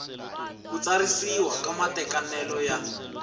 ku tsarisiwa ka matekanelo ya